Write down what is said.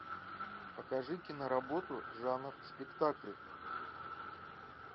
покажи киноработу жанр спектакль